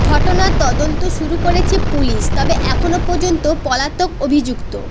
ঘটনার তদন্ত শুরু করেছে পুলিশ তবে এখনও পর্যন্ত পলাতক অভিযুক্ত